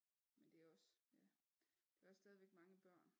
Men det også ja det også stadigvæk mange børn